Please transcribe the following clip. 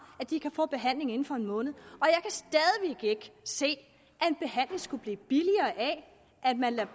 at de kan få behandling inden for en måned og ikke se at en behandling skulle blive billigere af at man lader